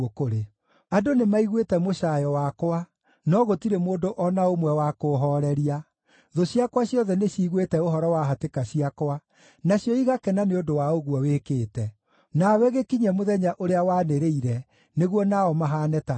“Andũ nĩmaiguĩte mũcaayo wakwa, no gũtirĩ mũndũ o na ũmwe wa kũũhooreria. Thũ ciakwa ciothe nĩciguĩte ũhoro wa hatĩka ciakwa, nacio igakena nĩ ũndũ wa ũguo wĩkĩte. Nawe gĩkinyie mũthenya ũrĩa wanĩrĩire nĩguo nao mahaane ta niĩ.